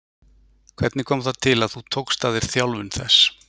Hvernig kom það til að þú tókst að þér þjálfun þess?